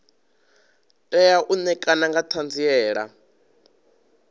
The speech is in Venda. tea u ṋekana nga ṱhanziela